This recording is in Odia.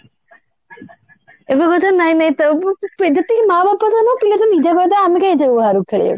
ଏବେ କହୁଛନ୍ତି ନାଇଁ ନାଇଁ ଯେତିକି ମାଆ ବାପା ତ ନୁହେଁ ପିଲା ତ ନିଜେ କହିଦେବେ ଆମେ କାଇଁ ଯିବୁ ବାହାରକୁ ଖେଳିବାକୁ